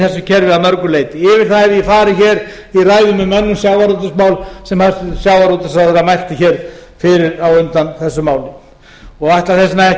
kerfi að mörgu leyti yfir það hef ég farið hér í ræðum um önnur sjávarútvegsmál sem hæstvirtur sjávarútvegsráðherra mælti hér fyrir á undan þessu máli og ætla þess vegna ekki